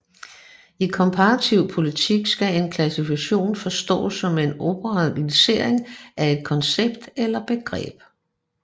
I komparativ politik skal en klassifikation forstås som en operationlisering af et koncept eller begreb